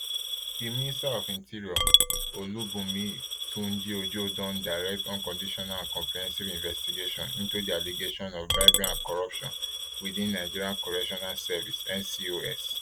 di minister of interior olubunmi tunjiojo don direct unconditional and comprehensive investigation into di allegations of bribery and corruption within nigerian correctional service ncos